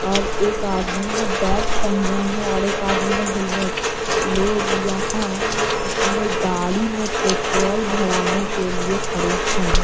और एक आदमी ने बैग पहना है और एक आदमी ने हेलमेट लोग यहाँ अपने गाड़ी में पेट्रोल भरने के लिए खड़े हैं।